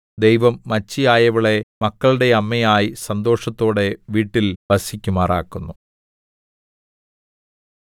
ദൈവം മച്ചിയായവളെ മക്കളുടെ അമ്മയായി സന്തോഷത്തോടെ വീട്ടിൽ വസിക്കുമാറാക്കുന്നു